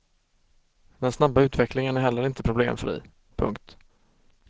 Den snabba utvecklingen är heller inte problemfri. punkt